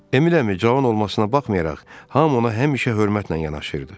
Emil əmi cavan olmasına baxmayaraq, hamı ona həmişə hörmətlə yanaşırdı.